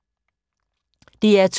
DR2